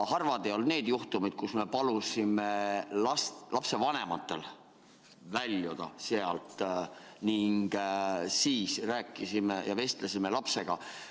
Harvad ei olnud need juhtumid, kui me palusime lapsevanematel väljuda ning siis rääkisime lapsega.